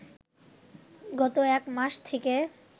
গত এক মাস থেকে